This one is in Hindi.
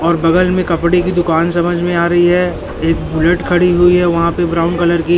और बगल में कपड़े की दुकान समझ में आ रही है एक बुलेट खड़ी हुई है वहां पे ब्राउन कलर की--